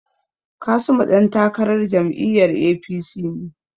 Kasimu dan takarar jam'iyyar APC ne.